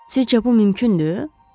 Sizcə bu mümkündür?